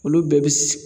Olu bɛɛ bi